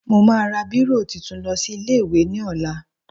Mo máa ra bírò tuntun lọ sí ilé-ìwé ní ọ̀la